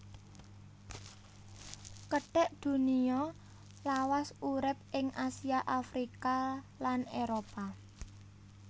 Kethek Dunia lawas urip ing Asia Afrika lan Éropah